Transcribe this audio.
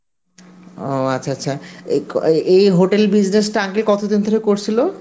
ও আচ্ছা আচ্ছা, এই ক~ এই hotel business টা uncle কতদিন ধরে করছিল?